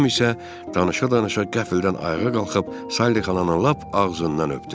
Tom isə danışa-danışa qəfildən ayağa qalxıb Sally xalanın lap ağzından öpdü.